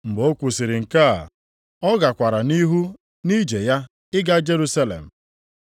Mgbe ọ kwusiri nke a, ọ gakwara nʼihu nʼije ya ịga Jerusalem.